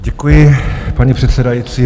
Děkuji, paní předsedající.